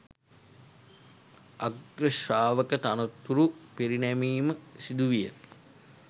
අග්‍ර ශ්‍රාවක තනතුරු පිරිනැමීම සිදුවිය.